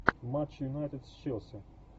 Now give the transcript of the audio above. матч юнайтед с челси